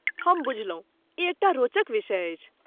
हम बुझलहुँ। ई एकटा रोचक विषय अछि।